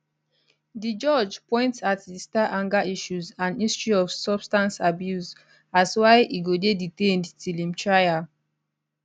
di judge point at di star anger issues and history of substance abuse as why e go dey detained till im trial